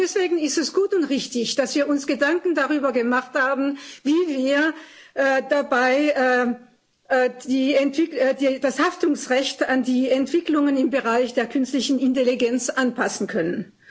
Deswegen ist es gut und richtig, dass wir uns darüber Gedanken gemacht haben, wie wir dabei das Haftungsrecht an die Entwicklungen im Bereich der künstlichen Intelligenz anpassen können.